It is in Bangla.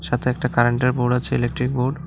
সাথে একটা কারেন্টের বোর্ড আছে ইলেকট্রিক বোর্ড ।